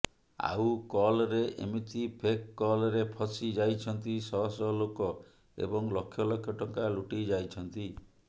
ଆଉକଲରେ ଏମିତି ଫେକ୍ କଲରେ ଫସି ଯାଇଛନ୍ତି ଶହ ଶହ ଲୋକ ଏବଂ ଲକ୍ଷ ଲକ୍ଷ ଟଙ୍କା ଲୁଟିଯାଇଛନ୍ତି